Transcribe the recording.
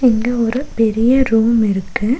இங்க ஒரு பெரிய ரூம் இருக்கு.